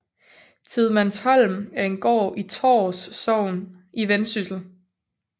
Tidemandsholm er en gård i Tårs Sogn i Vendsyssel